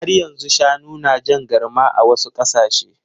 Har yanzu shanu na jan garma a wasu ƙasashe.